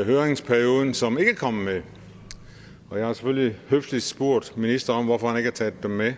i høringsperioden som ikke er kommet med og jeg har selvfølgelig høfligt spurgt ministeren hvorfor han ikke har taget dem med